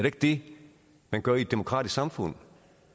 ikke det man gør i et demokratisk samfund